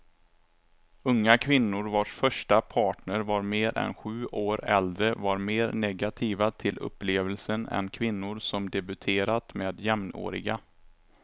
Unga kvinnor vars första partner var mer än sju år äldre var mer negativa till upplevelsen än kvinnor som debuterat med jämnåriga.